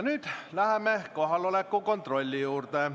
Nüüd läheme kohaloleku kontrolli juurde.